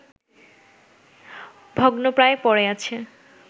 ভগ্নপ্রায় পড়ে আছে